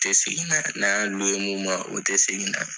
U tɛ segin n'a ye n'an mun ma o tɛ segin n'a ye.